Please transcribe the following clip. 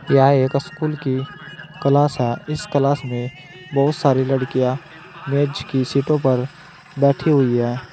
यह एक स्कूल की क्लास है इस क्लास मे बहोत सारी लड़कियां मेज़ की सीटो पर बैठी हुई है।